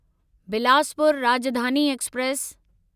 Bilaspur Rajdhani express